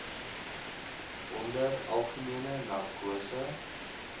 onder algemene narkose